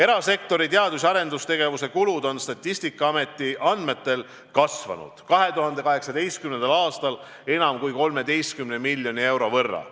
Erasektori teadus- ja arendustegevuse kulud on Statistikaameti andmetel kasvanud 2018. aastal enam kui 13 miljoni euro võrra.